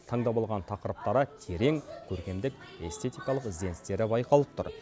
таңдап алған тақырыптары терең көркемдік эстетикалық ізденістері байқалып тұр